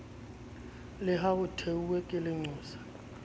le ha hothwe ke lenqosa